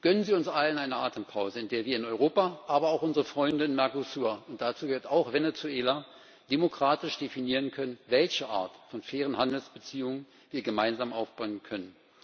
Gönnen Sie uns allen eine Atempause, in der wir in Europa, aber auch unsere Freunde im Mercosur und dazu gehört auch Venezuela demokratisch definieren können, welche Art von fairen Handelsbeziehungen wir gemeinsam aufbauen können.